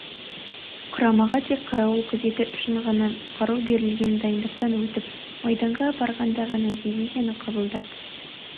құрамаға тек қарауыл күзеті үшін ғана қару берілген дайындықтан өтіп майданға барғанда ғана дивизияны қабылдап